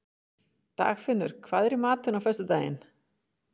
Dagfinnur, hvað er í matinn á föstudaginn?